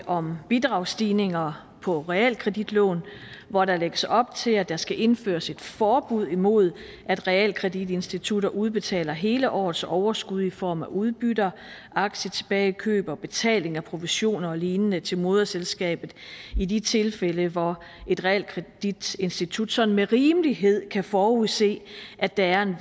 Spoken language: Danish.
om bidragsstigninger på realkreditlån hvor der lægges op til at der skal indføres et forbud mod at realkreditinstitutter udbetaler hele årets overskud i form af udbytter aktietilbagekøb og betaling af provisioner og lignende til moderselskabet i de tilfælde hvor et realkreditinstitut sådan med rimelighed kan forudse at der er en